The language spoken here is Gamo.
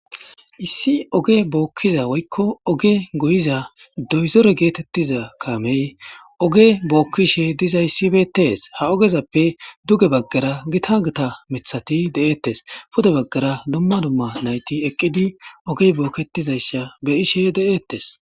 Issi oge bookkiza woykko oge goyiza doyzore geetettiza kamey oge bookkishe dizayssibetees ha ogezappe duge baggara gita gata mithati de7eettes pude baggara dumma dumma nayti eqqidi ogey bookketizaysha be ishe de7ettes.